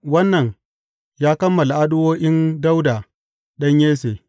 Wannan ya kammala addu’o’in Dawuda ɗan Yesse.